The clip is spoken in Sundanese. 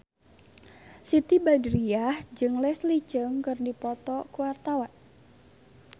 Siti Badriah jeung Leslie Cheung keur dipoto ku wartawan